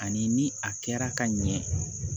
Ani ni a kɛra ka ɲɛ